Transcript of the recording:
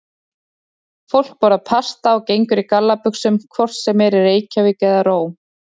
Fólk borðar pasta og gengur í gallabuxum hvort sem er í Reykjavík eða Róm.